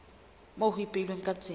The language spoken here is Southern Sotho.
moo ho ipehilweng ka tsela